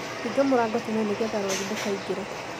Hinga mũrango tene nĩgetha rũagĩ ndũkaingĩre